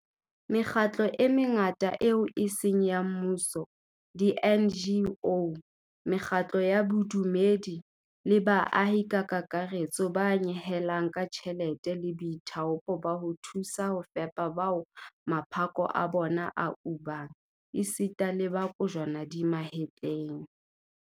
Mekgatlo e mengata eo e seng ya mmuso di-NGO, mekgatlo ya bodumedi le baahi ka kakaretso ba nyehelang ka tjhelete le boithaopo ba ho thusa ho fepa bao maphako a bona a ubang esita le ba kojwana di mahetleng.